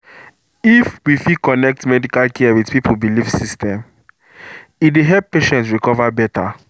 if we fit connect medical care with people belief system e dey help patient recover better.